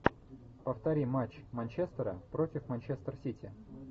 повтори матч манчестера против манчестер сити